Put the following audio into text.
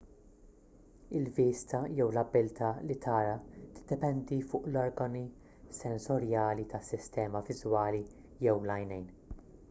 il-vista jew l-abilità li tara tiddependi fuq l-organi sensorjali tas-sistema viżwali jew l-għajnejn